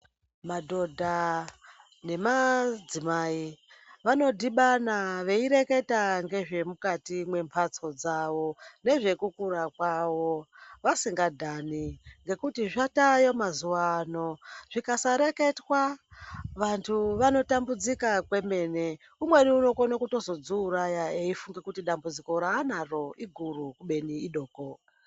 Madhodha nemadzimai vanodhibana veirekata ngezvemukati mwemhatso dzawo nezvekukura kwawo vasingadhani ngekuti zvatayo mazuwa ano zvisakareketwa vanhu vanotambudzika kwemene umweni unokone kuzotodziuraya eifunge kuti dambudziko raanaro iguru kubeni idoko.